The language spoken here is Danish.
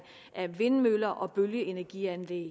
af vindmøller og bølgeenergianlæg